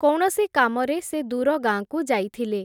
କୌଣସି କାମରେ ସେ ଦୂର ଗାଁକୁ ଯାଇଥିଲେ ।